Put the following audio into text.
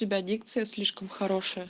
у тебя дикция слишком хорошая